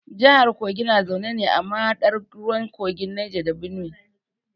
Jahar kogi na zaune ne a mahaɗar ruwan kogin Neja da Benuwe.